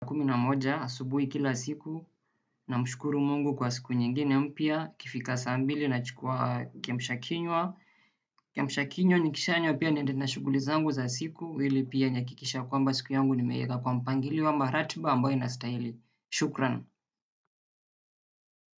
Kumi na moja, asubuhi kila siku, namshukuru Mungu kwa siku nyingine mpya, ikifika saa mbili nachukua kiamsha kinywa. Kiamsha kinywa nikishanywa pia niende na shughuli zangu za siku, ili pia nihakikishe kwamba siku yangu nimeiweka kwa mpangilio ama ratiba ambayo inastahili. Shukran.